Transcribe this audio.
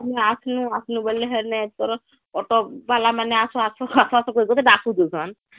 ତାପରେ ତ ଆସିନୁ , ଆସିନୁ ବୋଇଲେ ହେନେ ତୋର auto ଵାଲା ମାନେ ଆସ ଆସ ଆସ ଆସ କହି କରି ଡାକ ଦଉସନ